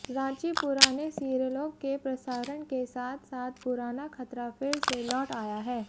रांचीः पुराने सीरियलों के प्रसारण के साथ साथ पुराना खतरा फिर से लौट आया है